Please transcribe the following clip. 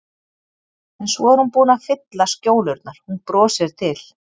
En svo er hún búin að fylla skjólurnar, hún brosir til